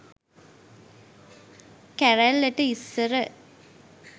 කැරැල්ලට ඉස්සර